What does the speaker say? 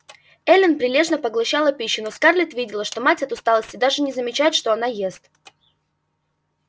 эллин прилежно поглощала пищу но скарлетт видела что мать от усталости даже не замечает что она ест